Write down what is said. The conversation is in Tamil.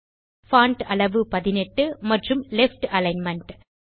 பான்ட் அளவு 18 மற்றும் லெஃப்ட் அலிக்ன்மென்ட்